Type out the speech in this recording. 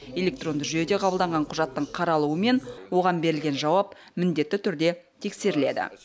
электронды жүйеде қабылданған құжаттың қаралуы мен оған берілген жауап міндетті түрде тексеріледі